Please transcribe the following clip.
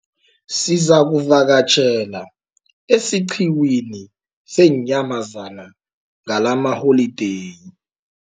Sizakuvakatjhela esiqhiwini seenyamazana ngalamaholideyi.